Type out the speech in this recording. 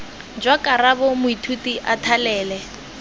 jwa karabo moithuti a thalele